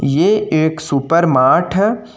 ये एक सुपरमार्ट है।